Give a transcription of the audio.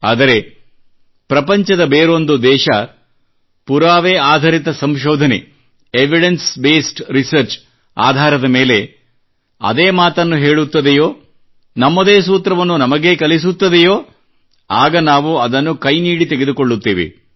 ಆದರೆ ಪ್ರಪಂಚದ ಬೇರೊಂದು ದೇಶ ಪುರಾವೆ ಆಧರಿತ ಸಂಶೋಧನೆಯ ಎವಿಡೆನ್ಸ್ ಬೇಸ್ಡ್ ರಿಸರ್ಚ್ ಆಧಾರದ ಮೇಲೆ ಅದೇ ಮಾತನ್ನು ಹೇಳುತ್ತದೆಯೋ ನಮ್ಮದೇ ಸೂತ್ರವನ್ನು ನಮಗೇ ಕಲಿಸುತ್ತದೆಯೋ ಆಗ ನಾವು ಅದನ್ನು ಕೈನೀಡಿ ತೆಗೆದುಕೊಳ್ಳುತ್ತೇವೆ